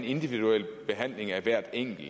individuel behandling af hver enkel